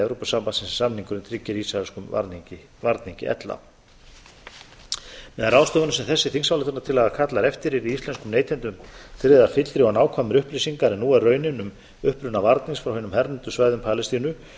evrópusambandsins sem samningurinn tryggir ísraelskum varningi ella með ráðstöfunum sem þessi þingsályktunartillaga kallar eftir yrði íslenskum neytendum tryggðar fyllri og nákvæmari upplýsingar en nú er raunin um uppruna varnings frá hinu hernumdu svæðum palestínu